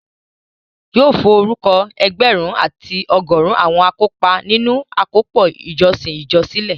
Yóò forúkọ ẹgbẹ̀rún àti ọgọrun àwọn akópa nínu àkópọ̀ ìjọsìn ìjọ sílẹ̀